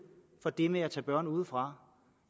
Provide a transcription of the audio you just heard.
for det med at tage børn udefra